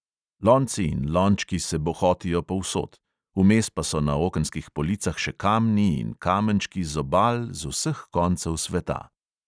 Lonci in lončki se bohotijo povsod, vmes pa so na okenskih policah še kamni in kamenčki z obal z vseh koncev sveta.